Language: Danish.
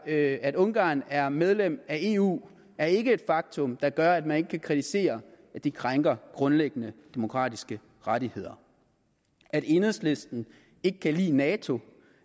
at at ungarn er medlem af eu er ikke et faktum der gør at man ikke kan kritisere at de krænker grundlæggende demokratiske rettigheder at enhedslisten ikke kan lide nato